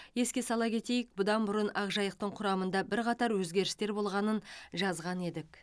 еске сала кетейік бұдан бұрын ақжайықтың құрамында бірқатар өзгерістер болғанын жазған едік